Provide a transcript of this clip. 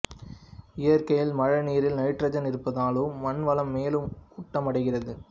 இயற்கையில் மழை நீரில் நைட்ரஜன் இருப்பதாலும் மண் வளம் மேலும் ஊட்டமடைகிறது